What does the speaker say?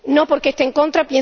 No porque esté en contra